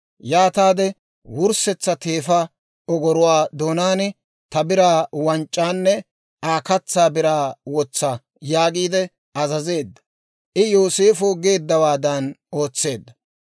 yaataade wurssetsa teefaa ogoruwaa doonaan ta biraa wanc'c'aanne Aa katsaa biraa wotsa» yaagiide azazeedda; I Yooseefo geeddawaadan ootseedda.